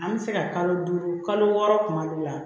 An bɛ se ka kalo duuru kalo wɔɔrɔ tuma dɔw la